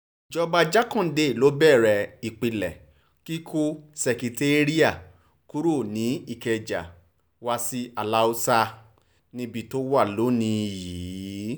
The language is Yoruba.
ìjọba jákàndé ló bẹ̀rẹ̀ ìpilẹ̀ kíkọ́ ṣèkẹtẹ́ri·a kúrò ní ìkẹjà wa sí aláàsá níbi tó wà lónì-ín yìí